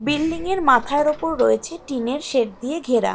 Building এর মাথার উপর রয়েছে টিনের শেড দিয়ে ঘেরা।